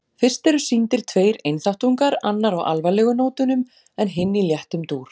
Fyrst eru sýndir tveir einþáttungar, annar á alvarlegu nótunum en hinn í léttum dúr.